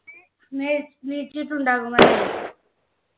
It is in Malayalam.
എണീറ്റിണ്ടാകുമല്ലോ